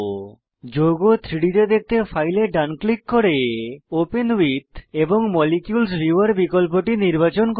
যৌগ 3ডি তে দেখতে ফাইলে ডান ক্লিক করে ওপেন উইথ এবং মলিকিউলস ভিউয়ার বিকল্পটি নির্বাচন করুন